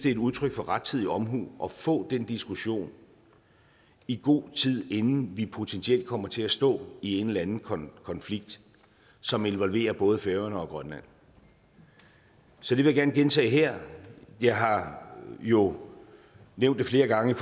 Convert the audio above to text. et udtryk for rettidig omhu at få den diskussion i god tid inden vi potentielt kommer til at stå i en eller anden konflikt som involverer både færøerne og grønland så det vil jeg gerne gentage her jeg har jo nævnt det flere gange i